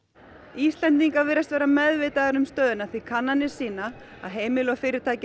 Íslendingar virðast vera meðvitaðir um stöðuna því kannanir sýna að heimilin og fyrirtækin